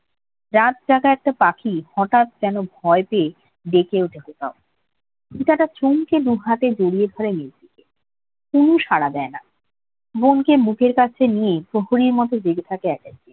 রাত জাগা একটা পাখি হঠাৎ যেন ভয় পেয়ে ডেকে উঠে কোথাও। ফিতাটা ছমকে দু হাতে জড়িয়ে ধরে নিজ থেকে। তনু সারা দেয় না। মনকে মুখের কাছে নিয়ে প্রহরীর মতো জেগে থাকে একাই।